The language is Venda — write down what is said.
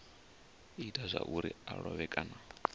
ita zwauri a lovhe kana